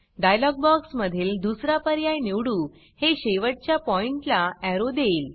dialogue box मधील दुसरा पर्याय निवडू हे शेवटच्या पॉइण्ट ला एरो देईल